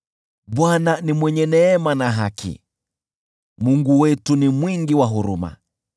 Bwana ni mwenye neema na haki, Mungu wetu ni mwingi wa huruma.